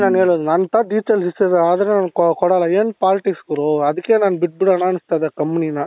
ನಾನು ಹೇಳೋದು ನನ್ನ ತವ details ಈಸತಿ ಆದ್ರೆ ನಾನು ಕೊಡಲ್ಲ ಏನು politics ಗುರು ಅದಕ್ಕೆ ನಾನು ಬಿಟ್ಬಿಡೋಣ ಅನ್ನುಸ್ತಾ ಇದೆ companyನ